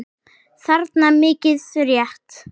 þarna, mikið rétt.